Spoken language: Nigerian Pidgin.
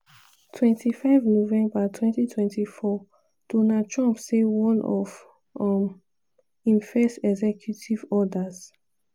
25 november 2024:donald trump say one of um im first executive orders